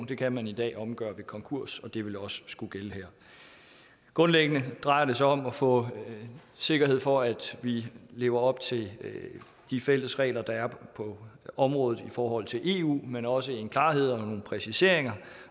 det kan man i dag omgøre ved konkurs og det vil også skulle gælde her grundlæggende drejer det sig om at få sikkerhed for at vi lever op til de fælles regler der er på området i forhold til eu men også en klarhed og nogle præciseringer